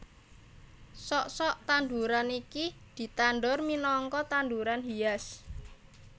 Sok sok tanduran iki ditandur minangka tanduran hias